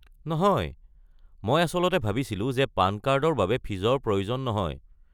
নহয়, মই আচলতে ভাবিছিলো যে পান কাৰ্ডৰ বাবে ফীজৰ প্ৰয়োজন নহয়।